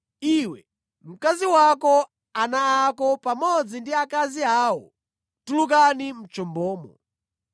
“Iwe, mkazi wako, ana ako pamodzi ndi akazi awo tulukani mʼchombomo.